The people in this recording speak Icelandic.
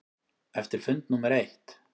Eftir fund númer eitt.